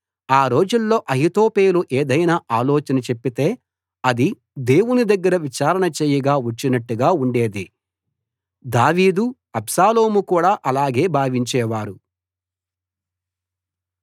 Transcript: ఆ రోజుల్లో అహీతోపెలు ఏదైనా ఆలోచన చెప్పితే అది దేవుని దగ్గర విచారణ చేయగా వచ్చినట్టుగా ఉండేది దావీదు అబ్షాలోము కూడా అలాగే భావించేవారు